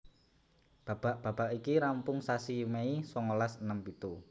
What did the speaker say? Babak babak iki rampung sasi Mei songolas enem pitu